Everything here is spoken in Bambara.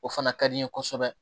O fana ka di n ye kosɛbɛ